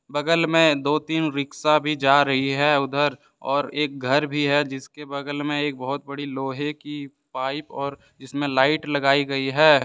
बगल में दो तीन रिक्शा भी जा रही है उधर और एक घर भी है जिसके बगल में एक बहुत बड़ी लोहे की पाइप और इसमें लाइट लगाई गई है।